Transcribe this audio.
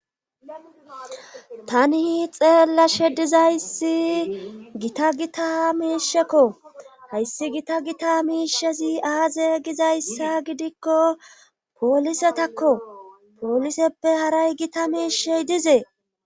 Tani xeella she dizayssi gita gita miishekko hayssi gita gita miishezi aaze gizayssa gidikko poolisetakko pooliseppe haray gita miishey dizees.